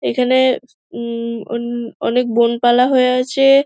এখানে উমম অনেক বনপালা হয়ে আছে।